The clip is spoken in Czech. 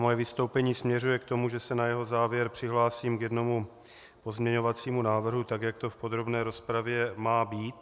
Moje vystoupení směřuje k tomu, že se na jeho závěr přihlásím k jednomu pozměňovacímu návrhu, tak jak to v podrobné rozpravě má být.